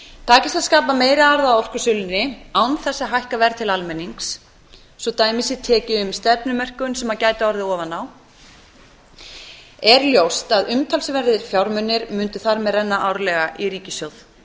takist að skapa meiri arð á orkusölunni án þess að hækka verð til almennings svo dæmi sé tekið um stefnumörkun sem gæti orðið ofan á er ljóst að umtalsverðir fjármunir mundu þar með renna árlega í ríkissjóð